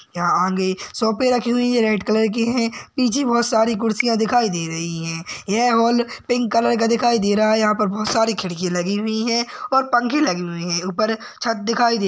यहाँ आगे सोफ़े रखी हुई है रेड कलर की है पीछे बहुत सारे खुर्चिया दिखाई दे रही है यह हॉल पिंक कलर का दिखाई दे रहा यहाँ पर बहुत सारी खिड़की लगी हुई है और पंखे लगे हुए है उपर छत दिखाई दे--